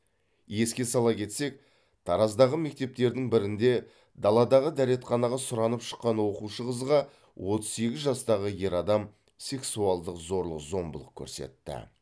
еске сала кетсек тараздағы мектептердің бірінде даладағы дәретханаға сұранып шыққан оқушы қызға отыз сегіз жастағы ер адам сексуалдық зорлық зомбылық көрсетті